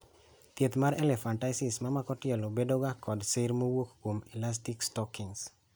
Thieth mar elephantiasis mamako tielo bedoga kod sir mowuok kuom elastic stockings.